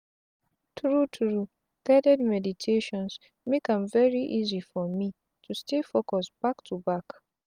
tru tru guided meditations make am very easy for me to stay focus back to back.